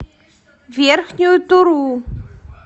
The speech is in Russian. верхнюю туру